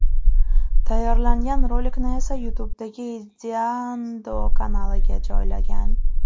Tayyorlangan rolikni esa YouTube’dagi Ideando kanaliga joylagan .